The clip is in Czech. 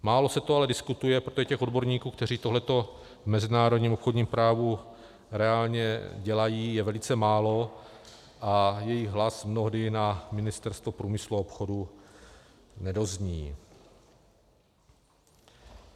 Málo se to ale diskutuje, protože těch odborníků, kteří tohleto v mezinárodním obchodním právu reálně dělají, je velice málo a jejich hlas mnohdy na Ministerstvo průmyslu a obchodu nedozní.